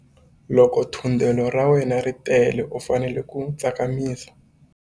Loko thundelo ra wena ri tele u fanele ku tsakamisa.